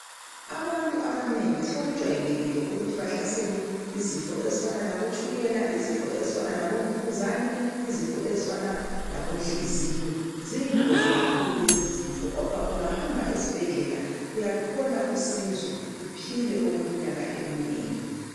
Abantu abanengi sokujwayelekile ukuthi bahlaselwe izifo ezifana labotshukela izifo ezifana labomvukuzane izifo ezifana labomhliziyo ziyingozi kakhulu lezi zifo kodwa ungahamba esibhedlela uyathola usizo uphile okwenyaka eminengi